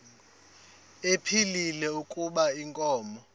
ephilile kuba inkomo